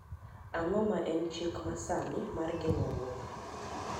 ang'o ma en chik masani mar geng'o wuotho